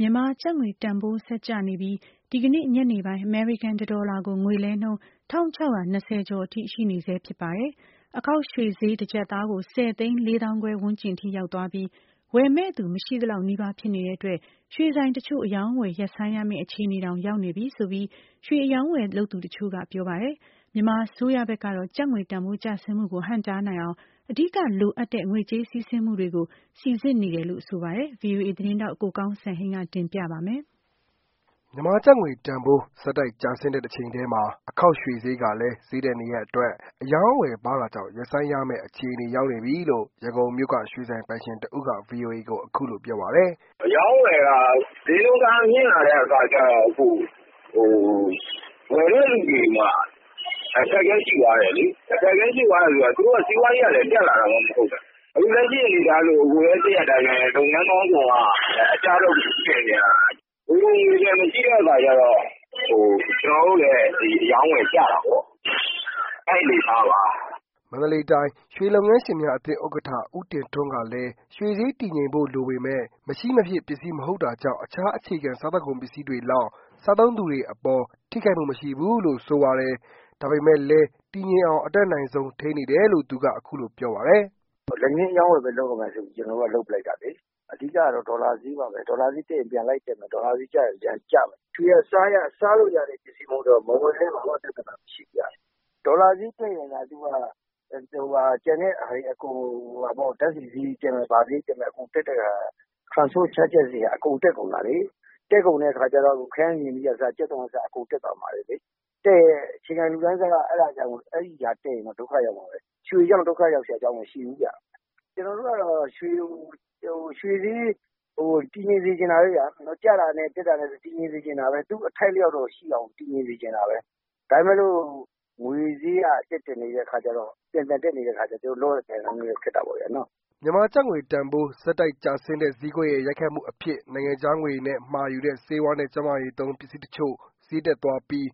မြန်မာကျပ်ငွေတန်ဖိုး ဆက်ကျနေပြီး ဒီနေ့ ညနေပိုင်း အမေရိကန် တဒေါ်လာကို ငွေလဲနှုန်း ၁၆၂၀ ကျော်အထိ ရှိနေဆဲဖြစ်ပါတယ်။ အခေါက်ရွှေဈေး တကျပ်သားကို ဆယ်သိန်း လေးသောင်းခွဲဝန်းကျင်အထိ ရောက်သွားပြီး ဝယ်မယ့်သူ မရှိသလောက် နီးပါး ဖြစ်နေတဲ့အတွက် ရွှေဆိုင်တချို့ အရောင်းအဝယ် ရပ်ဆိုင်းရမယ့် အခြေအနေတောင် ရောက်နေပြီဆိုပြီး ရွှေအရောင်းအဝယ်လုပ်သူ တချို့ ပြောပါတယ်။ မြန်မာအစိုးရဘက်ကတော့ ကျပ်ငွေတန်းဖိုး ကျဆင်းမှုကို ဟန့်တားနိုင်အောင် အဓိက လိုအပ်တဲ့ ငွေကြေးစီးဆင်းမှုတွေကို စီစစ်နေတယ်လို့ ဆိုပါတယ်။ VOA သတင်းထောက် ကိုကောင်းစံဟိန်းက တင်ပြပါလိမ့်မယ်။ မြန်မာကျပ်ငွေတန်ဖိုး ဆက်တိုက်ကျဆင်းတဲ့တချိန်တည်းမှာ အခေါက်ရွှေဈေးကလည်း ဈေးတက်နေတဲ့အတွက် အရောင်းအဝယ်ပါးတာကြောင့် ရပ်ဆိုင်းရမယ့်အခြေအနေ ရောက်နေပြီလို့ ရန်ကုန်မြို့က ရွှေဆိုင်ပိုင်ရှင်တဦးက VOA ကို ပြောပါတယ်။ “အရောင်းအဝယ်က ဈေးနှုန်းတအားမြင့်လာတဲ့ အခါကျတော့ ဝယ်တဲ့သူတွေမှာ အခက်အခဲရှိသွားတယ်လေ။ သူတို့က စီးပွားရေးက တက်လာတာမှမဟုတ်တာ အခုလက်ရှိမှာ လုပ်ငန်းပေါင်းစုံက အကျဘက်ကို ရောက်နေတာလေ။ငွေပိုငွေလျံ မရှိတဲ့အခါကျတော့ ကျနော်တို့လည်း အရောင်းအဝယ်ကျတာပေါ့။ အဲဒီအနေအထားပါ။” မန္တလေးတိုင်း ရွှေလုပ်ငန်းရှင်းများအသင်း ဥက္ကဋ္ဌ ဦးတင်ထွန်းကလည်း ရွှေဈေးတည်ငြိမ်ဖို့ လိုပေမယ့် မရှိမဖြစ် ပစ္စည်း မဟုတ်တာကြောင့် တခြား အခြေခံ စာကုန်ပစ္စည်းတွေလောက် စားသုံးသူတွေအပေါ် ထိခိုက်မှု မရှိဘူးလို့ ဆိုပါတယ်။ ဒါပေမဲ့လည်း တည်ငြိမ်အောင် အတတ်နိုင်ဆုံး ထိန်းနေတယ်ုလို့ သူက ဆိုပါတယ်။ “လက်ငင်းအရောင်းအဝယ်ဘဲ လုပ်ရမယ်ဆိုပီး ကျနော်တို့က လုပ်ပလိုက်တာလေ။အဓိကက ဒေါ်လာဈေးပါဘဲ။ ဒေါ်လာဈေးတက်ရင် ပြန်လိုက်တက်တယ် ဒေါ်လာဈေးကျရင် ပြန်ကျတယ်။ ရွှေက စားရတဲ့အရာမဟုတ်တော့ မဝယ်လည်းဘာမှ ပြဿနာမရှိဖူးဗျ။ ဒေါ်လာဈေးတက်ရင်သာအကုန် ဓါတ်ဆီဈေးတက်မယ် ဘာဈေးတက်မယ် transport charges တွေက တက်ကုန်တာလေ။ တက်ကုန်တဲ့ အခါကျတော့ ခရမ်းချဉ်သီးက အစ ကြက်သွန်က အစ အကုန်တက်တယ်။ တက်ရင် အခြေခံလူတန်းစားက အဲဒါတက်ရင်အကုန် ဒုက္ခရောက်ကုန်တယ်။ ရွှေကြောင့် ဒုက္ခရောက်စရာ အကြောင်းမရှိဖူးဗျ။ကျနော်တို့ကတော့ ရွှေဈေး တည်ငြိမ်စေချင်တာပါပဲဗျာ။ သူ့အထိုက်အလျောက်တော့ရှိအောင်တည်ငြိမ်စေချင်တာပဲ။ ဒါပေမဲ့လို့ ငွေဈေးက ပြန်ပြန်တက်တက်နေတဲ့ အခါကျတော့ လုပ်ရကိုင်ရ ခက်နေတာပေါ့။” မြန်မာကျပ်ငွေတန်ဖိုး ဆက်တိုက်ကျဆင်းတဲ့ ဈေးကွက်ရဲ့ ရိုက်ခတ်မှုအဖြစ် နိုင်ငံခြားငွေနဲ့ မှာယူတဲ့ ဆေးဝါးနဲ့ ကျန်းမာရေးသုံး ပစ္စည်းတချို့ ဈေးတက်သွားပြီး